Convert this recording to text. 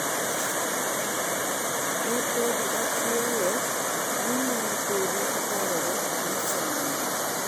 "Ne podi akiaye mi ne podi aparora ni en ng'a?"